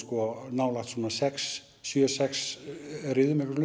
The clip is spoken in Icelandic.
nálægt svona sex sjö sex sjö riðum eitthvað